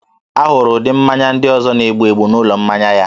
A hụrụ ụdị mmanya ndị ọzọ na-egbu egbu n'ụlọ mmanya ya